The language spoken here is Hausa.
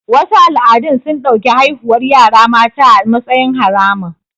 Wasu al'adun sun ɗauki haihuwar yara mata a matsayin haramun